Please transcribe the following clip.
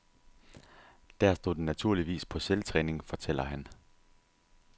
Der stod den naturligvis på selvtræning, fortæller han.